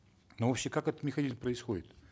но вообще как этот механизм происходит